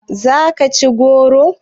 Za ki ci goro?